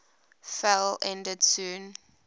fell ended soon